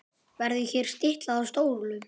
Verður hér stiklað á stóru.